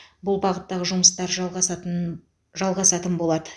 бұл бағыттағы жұмыстар жалғасатыннн жалғасатын болады